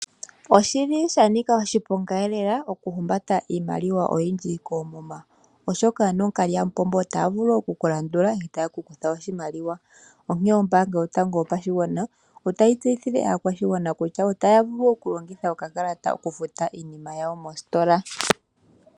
Oshili shanika oshiponga lela oku humbata iimaliwa oyindji koomuma, oshoka ano ookalyamupombo otaya vulu oku ku landula etayekukutha oshimaliwa. Onkene ombaanga yotango yopashigwana otayi tseyithile aakwashigwana kutya otaya vulu okulongitha okakalata oku futa iinima yawo mostola.